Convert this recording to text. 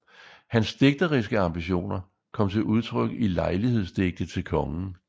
Hans digteriske ambitioner kom til udtryk i lejlighedsdigte til kongen